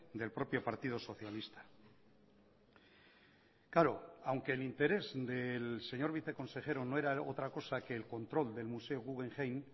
del propio partido socialista claro aunque el interés del señor viceconsejero no era otra cosa que el control del museo guggenheim